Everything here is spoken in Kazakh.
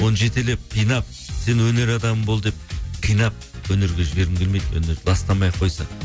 мхм оны жетелеп қинап сен өнер адамы бол деп қинап өнерге жібергім келмейді өнерді бастамай ақ қойсын